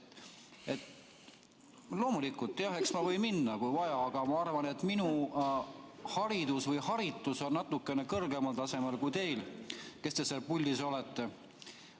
Loomulikult, jah, eks ma võin minna, kui vaja, aga ma arvan, et minu haridus või haritus on natukene kõrgemal tasemel kui teil, kes te seal puldis olete.